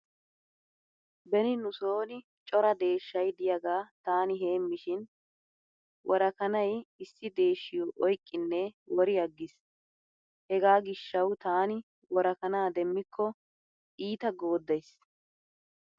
Beni nu sooni cora deeshshay diyaagaa taani heemmishin wora kanay issi deeshshiyo oyqqinne wori aggis. Hega gishshawu taani worakana demmikko iita gooddays.